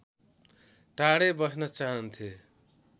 टाढै बस्न चाहन्थे